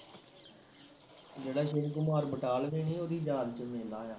ਜਿਹੜਾ ਸ਼ਿਵ ਕੁਮਾਰ ਬਟਾਲਵੀ ਨੀ ਉਹਦੀ ਯਾਦ ਵਿੱਚ ਵੇਨਾ ਆ